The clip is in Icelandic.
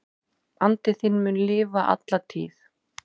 Andi þinn mun lifa alla tíð.